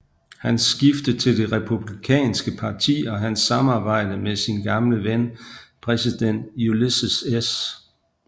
Hans skifte til det Republikanske Parti og hans samarbejde med sin gamle ven præsident Ulysses S